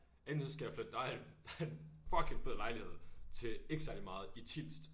Enten så skal flytte der er en der er en fucking fed lejlighed til ikke særlig meget i Tilst